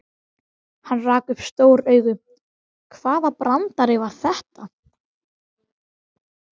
Ég læt hann vita, að við höfum lokið máli okkar.